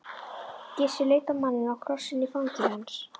Gissur leit á manninn og krossinn í fangi hans.